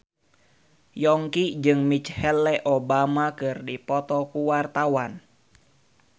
Yongki jeung Michelle Obama keur dipoto ku wartawan